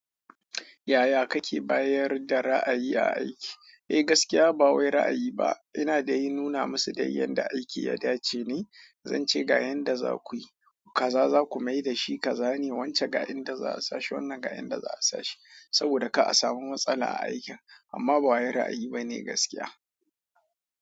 Yaya kake bayar da ra ayi aiki eh gaskiya bawai ra ayi ba ina dai nuna musu yadda aiki yadace ne zan ce ga yanda zakuyi kaza zaku maida shi kaza ne wance ga inda za a sashi wannan ga inda za a sashi saboda ka a samu matsala a aikin amma ba wai ra'ayi ba ne gaskiya.